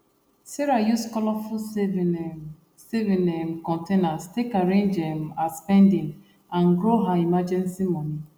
sarah use colourful saving um saving um containers take arrange um her spending and grow her emergency money